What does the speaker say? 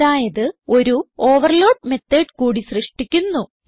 അതായത് ഒരു ഓവർലോഡ് മെത്തോട് കൂടി സൃഷ്ടിക്കുന്നു